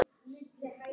Ég er enginn tækni